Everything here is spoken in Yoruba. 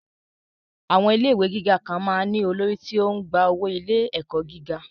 Àwọn ilé ìwé gíga kan máa ń ní olórí tí ó ń gba owó ilé-ẹ̀kọ́ gíga